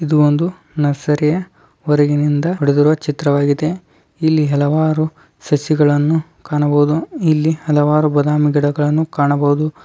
ಇದು ಒಂದು ನರ್ಸರಿ ಹೊರಗಿನಿಂದ ಹೊಡೆದಿರುವ ಚಿತ್ರವಾಗಿದೆ. ಇಲ್ಲಿ ಹಲವಾರು ಸಸಿಗಳನ್ನು ಕಾಣಬಹುದು. ಇಲ್ಲಿ ಹಲವಾರು ಬದಾಮಿ ಗಿಡಗಳನ್ನುನಾವು ಕಾಣಬಹುದು.